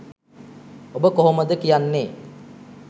ඔබ කොහොමද කියන්නේ